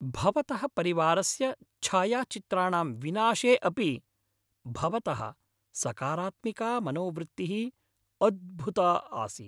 भवतः परिवारस्य च्छायाचित्राणां विनाशे अपि भवतः सकारात्मिका मनोवृत्तिः अद्भुता आसीत्।